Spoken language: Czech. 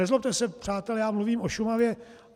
Nezlobte se, přátelé, já mluvím o Šumavě.